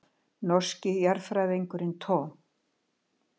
Norski jarðfræðingurinn Tom.